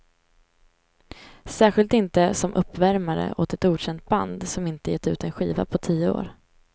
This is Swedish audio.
Särskilt inte som uppvärmare åt ett okänt band som inte gett ut en skiva på tio år.